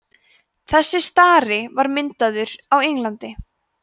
þessi stari var myndaður á englandi